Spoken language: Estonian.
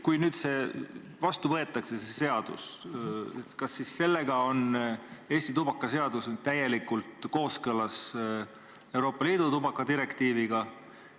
Kui see seadus nüüd vastu võetakse, kas siis on Eesti tubakaseadus täielikult kooskõlas Euroopa Liidu tubakadirektiiviga?